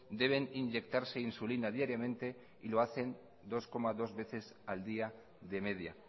deben inyectarse insulina diariamente y lo hacen dos coma dos veces al día de media